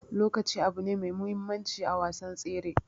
Lokaci abune me muhimmancin a wasan tsere.